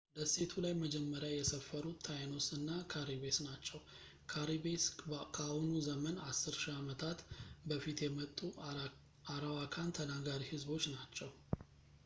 ደሴቱ ላይ መጀመሪያ የሰፈሩት ታይኖስ እና ካሪቤስ ናቸው ካሪቤስ ከአሁኑ ዘመን 10,000 ዓመታት በፊት የመጡ አራዋካን ተናጋሪ ህዝቦች ናቸው